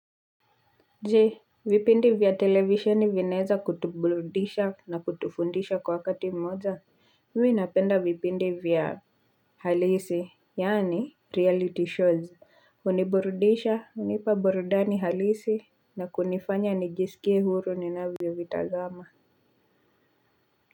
Je vipindi vya televisheni vinaeza kutuburudisha na kutufundisha kwa wakati mmoja mimi napenda vipindi vya halisi yaani reality shows huniburudisha hunipa burudani halisi na kunifanya nijisikie huru ninavyovitazama.